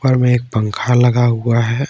ऊपर में एक पंखा लगा हुआ है।